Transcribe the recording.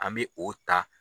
An bɛ o ta.